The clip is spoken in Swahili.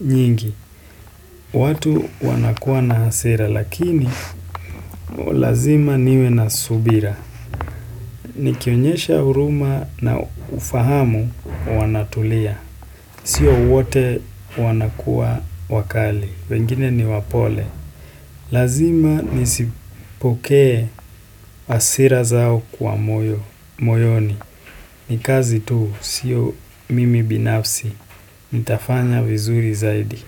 nyingi. Watu wanakuwa na hasira lakini lazima niwe na subira. Nikionyesha huruma na ufahamu wanatulia. Sio wote wanakuwa wakali. Pengine ni wapole. Lazima nisipokee hasira zao kwa moyo, moyoni Nikazi tu siyo mimi binafsi Nitafanya vizuri zaidi.